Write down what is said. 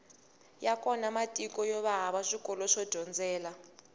ya kona matiko yova hava swikolo swo dyondzela